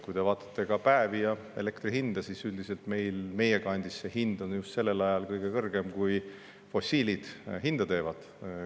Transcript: Kui te vaatate päevi ja elektri hinda, siis üldiselt on meie kandis hind kõige kõrgem just sellel ajal, kui fossiilid hinda teevad.